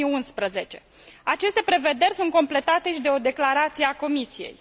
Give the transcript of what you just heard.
2011. Aceste prevederi sunt completate și de o declarație a Comisiei.